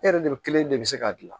E yɛrɛ de kelen de bɛ se k'a dilan